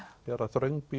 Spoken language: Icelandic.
þegar